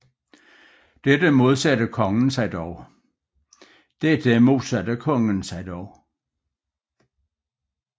Dette modsatte kongen modsatte sig dog